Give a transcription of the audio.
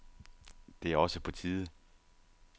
Det er også på tide.